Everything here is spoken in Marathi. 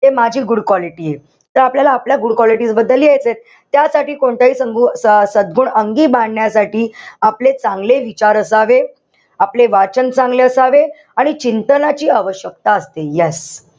ते माझी good quality ए. त आपल्याला आपल्या good quality बद्दल लिहायचंय. त्यासाठी कोणत्याही स अ सद्गुण अंगी बाणण्यासाठी आपले चांगले विचार असावे. आपले वाचन चांगले असावे. आणि चिंतनाची आवशक्यता असते. Yes.